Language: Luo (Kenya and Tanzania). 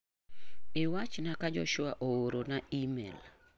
Iwachna ka Joshua ooro na imel.